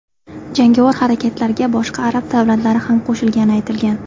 Jangovar harakatlarga boshqa arab davlatlari ham qo‘shilgani aytilgan.